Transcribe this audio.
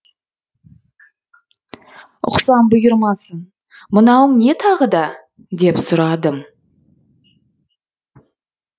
ұқсам бұйырмасын мынауың не тағы да деп сұрадым